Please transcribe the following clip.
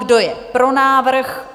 Kdo je pro návrh?